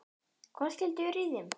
Hvað skyldi vera í þeim?